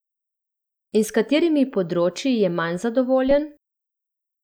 In s katerimi področji je manj zadovoljen?